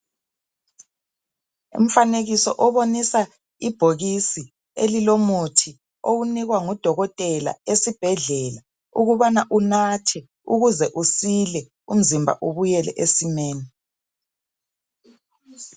Umfanekiso obonisa ibhokisi elilomuthi owunikwa ngudokotela esibhedlela ukubana unathe ukuze usile umzimba ubuyele esimeni.